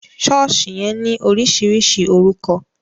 Sọ̀ọ́sì yẹn ní oríṣiríṣi orúkọ